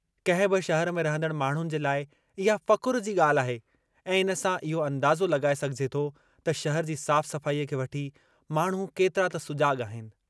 कंहिं बि शहरु में रहंदड़ माण्हुनि जे लाइ इहा फ़ख़ुरु जी ॻाल्हि आहे ऐं इन सां इहो अंदाज़ो लॻाए सघिजे थो त शहर जी साफ़-सफ़ाई खे वठी माण्हू केतिरा त सुजाॻु आहिनि।